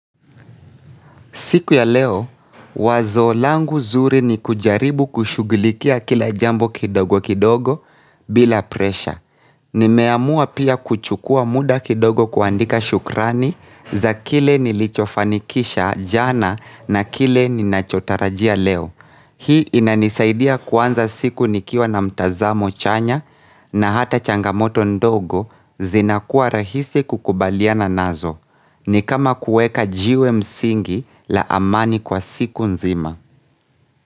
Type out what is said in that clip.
Siku ya leo, wazo langu zuri ni kujaribu kushughulikia kila jambo kidogo kidogo bila presha. Nimeamua pia kuchukua muda kidogo kuandika shukrani za kile nilichofanikisha jana na kile ninachotarajia leo. Hii inanisaidia kuanza siku nikiwa na mtazamo chanya na hata changamoto ndogo zinakuwa rahisi kukubaliana nazo. Ni kama kueka jiwe msingi la amani kwa siku nzima.